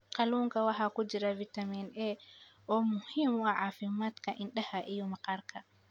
Kalluunka waxaa ku jira fitamiin A oo muhiim u ah caafimaadka indhaha iyo maqaarka.